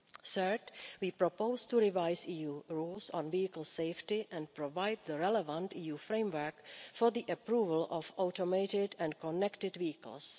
Third, we propose to revise EU rules on vehicle safety and provide the relevant EU framework for the approval of automated and connected vehicles.